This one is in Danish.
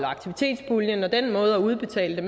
aktivitetspuljen og den måde at udbetale det